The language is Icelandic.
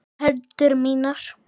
Hendur mínar.